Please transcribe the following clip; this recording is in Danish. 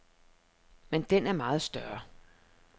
Men den er meget større.